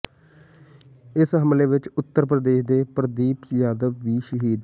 ਇਸ ਹਮਲੇ ਵਿਚ ਉਤਰ ਪ੍ਰਦੇਸ਼ ਦੇ ਪ੍ਰਦੀਪ ਯਾਦਵ ਵੀ ਸ਼ਹੀਦ